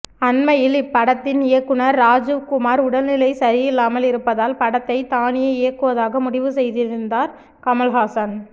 அண்மையில் இப்படத்தின் இயக்குனர் ராஜீவ் குமார் உடல்நிலை சரியில்லாமல் இருப்பதால் படத்தை தானே இயக்குவதாக முடிவு செய்திருந்தார் கமல்ஹாசன்